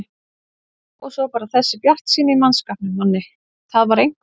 Já og svo bara þessi bjartsýni í mannskapnum, Manni, það var einhver